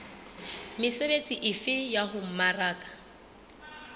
mesebetsi efe ya ho mmaraka